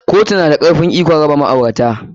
Koyu na da karfen ikon raba ma'aurata.